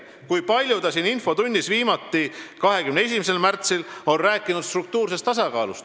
Kui palju ta siin infotunnis, viimati 21. märtsil, on rääkinud struktuursest tasakaalust.